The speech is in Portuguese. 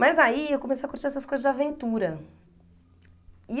Mas aí eu comecei a curtir essas coisas de aventura.